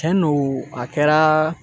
Cɛn don a kɛra